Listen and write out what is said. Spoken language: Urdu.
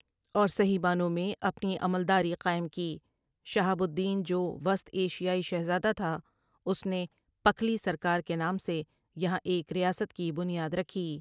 اور صحیح معنوں میں اپنی عملداری قائم کی شہاب الدین جو وسط ایشیائی شہزادہ تھا اس نے پکھلی سرکار کے نام سے یہاں ایک ریاست کی بنیاد رکھی ۔